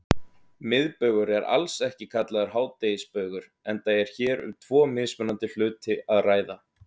Miðbaugur er alls ekki kallaður hádegisbaugur enda er hér um tvo mismunandi hluti að ræða.